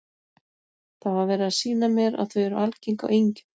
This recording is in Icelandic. Það var verið að sýna mér að þau eru algeng á engjum.